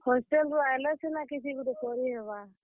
Hostel ରୁ ଆଏଲେ ସିନା କିଛି ଗୁଟେ କରିହେବା।